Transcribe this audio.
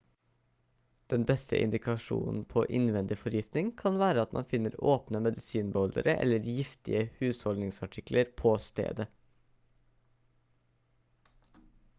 den beste indikasjonen på innvendig forgiftning kan være at man finner åpne medisinbeholdere eller giftige husholdningsartikler på stedet